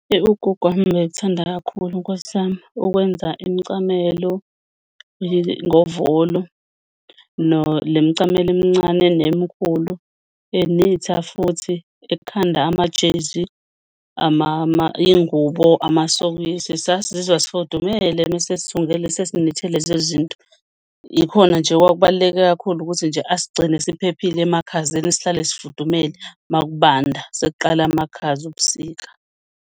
Ugogo wami ubethanda kakhulu, Nkosi yami, ukwenza imicamelo ngovolo le mcamelo emncane nemkhulu, enitha futhi, ekhanda amajezi, iy'ngubo, amasokisi, sasizizwa sifudumele mese esithungela esesi-knit-ela lezo zinto. Yikhona nje okubaluleke kakhulu ukuthi nje asigcine siphephile emakhazeni sihlale sifudumele uma kubanda sekuqala amakhaza obusika.